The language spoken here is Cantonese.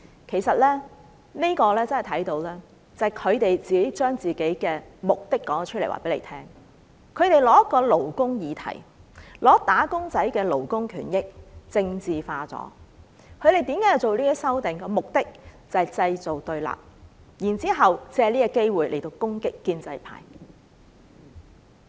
其實，由此可見，他們把自己的目的說了出來，他們以一個勞工議題，將"打工仔"的勞工權益政治化，他們提出這些修訂的目的是製造對立，然後藉此機會攻擊建制派。